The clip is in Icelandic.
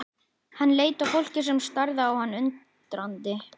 Hann leit á fólkið sem starði á hann undrandi.